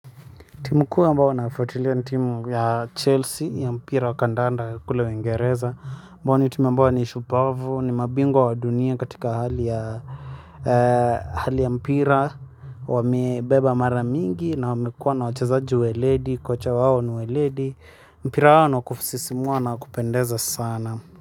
Timu kuu ambao naufuatilia ni timu ya chelsea ya mpira wa kandanda kule uingereza ambao ni timu ambao ni shupavu, ni mabingwa wa dunia katika hali ya mpira. Wamebeba mara mingi na wamekua na wachazaji weledi, kocha wao ni weledi. Mpira wao ni wa kusisimua na wa kupendeza sana.